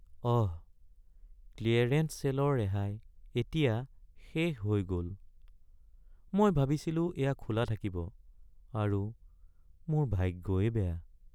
অহ! Clearance ছে'লৰ ৰেহাই এতিয়া শেষ হৈ গ'ল। মই ভাবিছিলোঁ এয়া খোলা থাকিব আৰু মোৰ ভাগ্যই বেয়া।